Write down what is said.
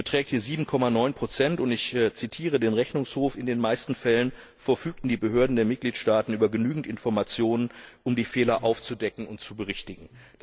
Sie beträgt hier 7,9 und ich zitiere den Rechnungshof In den meisten Fällen verfügten die Behörden der Mitgliedstaaten über genügend Informationen, um die Fehler aufzudecken und zu berichtigen.